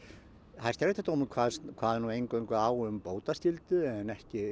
hæstaréttardómurinn kvað nú eingöngu á um bótaskyldu en ekki